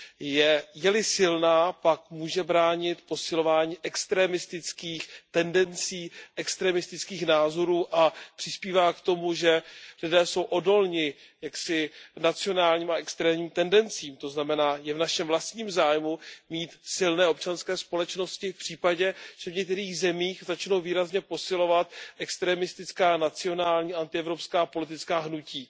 Je li silná, pak může bránit posilování extrémistických tendencí, extrémistických názorů a přispívá k tomu, že lidé jsou odolní k nacionálním a extrémním tendencím, to znamená, je v našem vlastním zájmu mít silné občanské společnosti v případě, že v některých zemích začnou výrazně posilovat extrémistická nacionální protievropská politická hnutí.